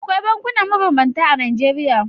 Akwai bankuna mabambanta a Najeriya.